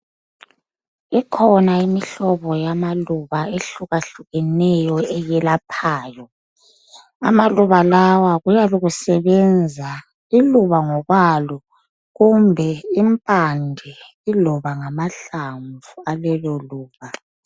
ikhona imihlobo yamaluba ehlukahlukaneyo eyelaphayo amaluba lawa kuyabe kusebenza iluba ngokwalo kumbe impande iloba ngamahlamvu alelo luba